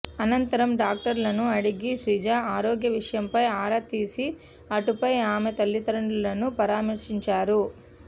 అనంతరం డాక్టర్లను అడిగి శ్రీజ ఆరోగ్య విషయంపై ఆరా తీసి అటుపై ఆమె తల్లిదండ్రులను పరామర్శించారు